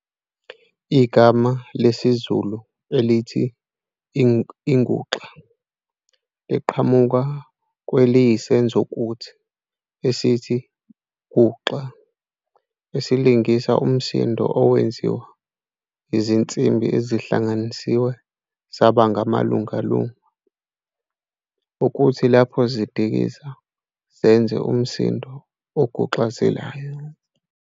Igama lesizulu elithi 'inguxa' liqhamuka kweliyisenzokuthi esithi 'guxa' esilingisa umsindo owenziwa izinsimbi ezihlanganisiwe zaba malungalunga, okuthi lapho zidikiza zenze umsindo oguxazelayo.